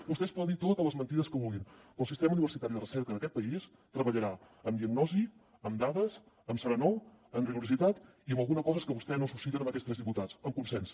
vostès poden dir totes les mentides que vulguin però el sistema universitari de recerca d’aquest país treballarà amb diagnosi amb dades amb serenor amb rigor i amb alguna cosa que vostè no suscita amb aquests tres diputats amb consens